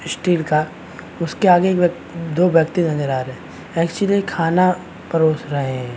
Steel का उसके आगे दो व्यक्ति नजर आ रहे है एक्चुअली खाना परोस रहे है।